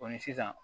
sisan